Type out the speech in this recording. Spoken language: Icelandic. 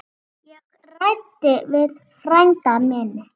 Ég ræddi við frænda minn.